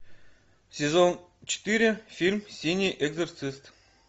сезон четыре фильм синий экзорцист